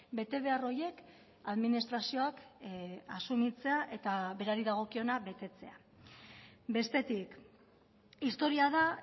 betebehar horiek administrazioak asumitzea eta berari dagokiona betetzea bestetik historia da